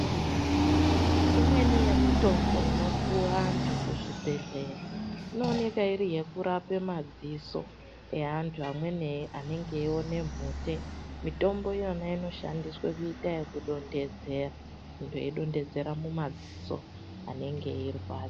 Imweni yemitombo inopuva antu kuzvibhedhleya inoneka iri yekurape madziso evantu amweni anenge eiona mhute. Mitombo iyona inoshandiswa kuita yekudonhedzera muntu eidonhedzera mumadziso anenge eirwadza.